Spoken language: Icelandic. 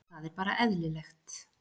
Þetta er bara eðlilegt.